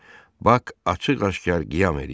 Bax açıq-aşkar qiyam eləyir.